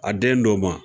A den do ma